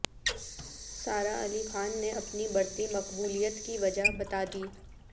سارہ علی خان نے اپنی بڑھتی مقبولیت کی وجہ بتا دی